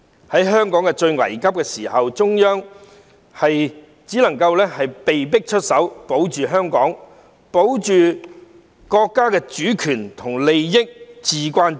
在香港最危急的時候，中央只能夠被迫出手，保護香港、保護國家的主權和利益，至關重要。